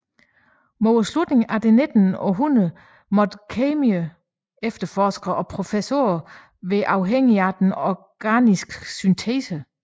Mod slutningen af det nittende århundrede måtte kemiefterforskere og professorer være afhængige af den organiske syntese